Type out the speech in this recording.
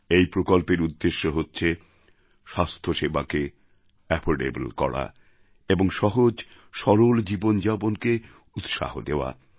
এই প্রকল্পর উদ্দেশ্য হচ্ছে স্বাস্থ্যসেবাকে এফোর্ডেবল করা এবং সহজ সরল জীবনযাপনকে উৎসাহ দেওয়া